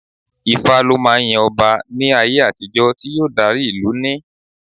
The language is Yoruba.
Ifá lọ máa ń yan ọba ní ayé àtijó tí yóò dárí ìlú ní.